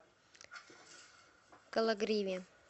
кологриве